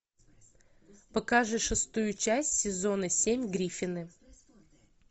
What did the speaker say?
покажи шестую часть сезона семь гриффины